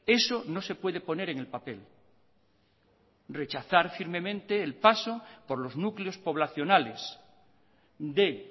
eso no se puede poner en el papel rechazar firmemente el paso por los núcleos poblacionales de